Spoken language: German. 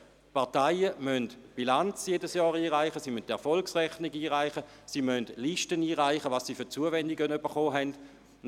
Parteien müssen jedes Jahr die Bilanz und die Erfolgsrechnung sowie Listen mit ihren Zuwendungen einreichen.